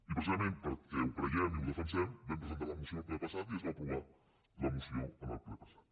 i pre·cisament perquè ho creiem i ho defensem vam presen·tar la moció el ple passat i es va aprovar la moció en el ple passat